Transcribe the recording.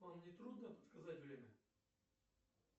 вам не трудно подсказать время